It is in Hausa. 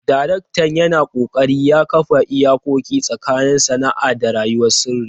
Daraktan yana ƙoƙari ya kafa iyakoki tsakanin sana'a da rayuwar sirri.